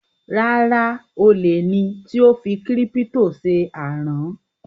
Rárá, olè ni tí ó fi kírípítò ṣe àrán